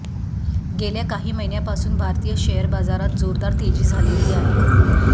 गेल्या काही महिन्यापासून भारतीय शेअर बाजारात जोरदार तेजी झालेली आहे